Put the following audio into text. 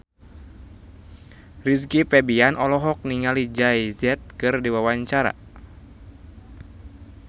Rizky Febian olohok ningali Jay Z keur diwawancara